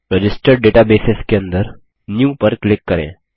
registered databases के अंदर new पर क्लिक करें